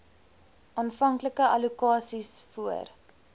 aanvanklike allokasies voor